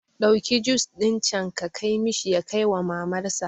Ɗauki jus ɗin can ka kai mishi ya kaiwa mamar sa